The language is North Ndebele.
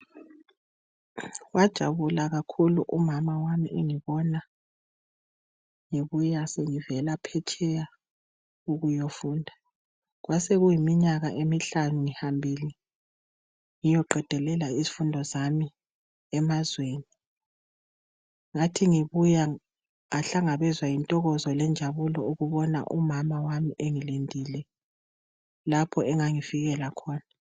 Wajabula kakhulu umama wami engibona ngibuya sengivela phetsheya ukuyofunda. Kwasekuleminyaka emihlanu ngihambile ngiyoqedelela izifundo zami emazweni. Ngathi ngibuya ngahlangabezwa yintokozo lenjabulo ukubona umama wami engilindile lapho engangifikela khona.